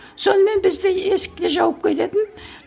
сонымен бізді есікке жауып кететін